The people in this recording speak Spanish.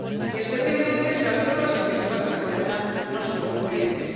Y especialmente si las pruebas en que se basa la condena no son concluyentes.